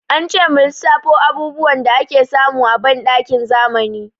Ance mu lissafo abubuwan da ake samu a banɗakin zamani.